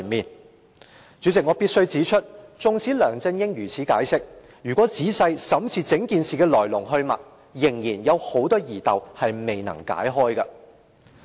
代理主席，我必須指出，縱使梁振英如此解釋，但如果仔細審視整件事的來龍去脈，仍然有很多疑竇未能解開。